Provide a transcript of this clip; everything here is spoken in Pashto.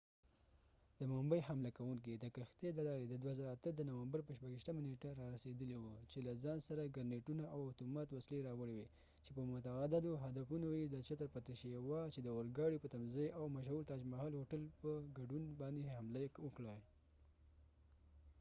د ممبۍ حمله کوونکې د کښتی د لارې د 2008 د نومبر په 26 نیټه رارسیدلی و چې له ځان سره ګرنیټونه او اتومات وسلی راوړی وي چې په متعددو هدفونو یې د چتر پتی شيوا چې chatar pati shivaji د اور ګاډی په تمځاې او مشهور تاج محل هوټل په ګډون باندي یې حملی وکړي